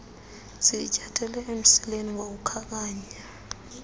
siyinyathele emsileni ngokukhankanya